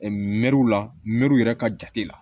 Mɛriw la mɛruw yɛrɛ ka jate la